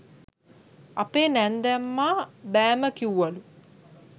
අපේ නැන්දම්මා බෑම කිව්වලු